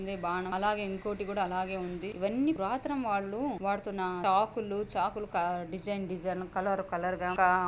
ఇది బాణం అలాగే ఇంకోటి కూడా అలాగే ఉంది ఇవి అన్నీ పురాతనం వాళ్ళు వాడుతున్న చాక్ లు చాక్ లు డిసయన్ డిసయన్ కలర్ కలర్ గ ఆ --